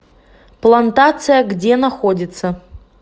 плантация где находится